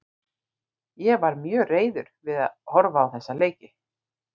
Ég varð mjög reiður við að horfa á þessa leiki.